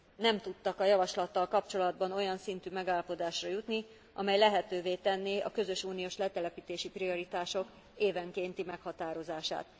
nem tudtak a javaslattal kapcsolatban olyan szintű megállapodásra jutni, amely lehetővé tenné a közös uniós letelepítési prioritások évenkénti meghatározását.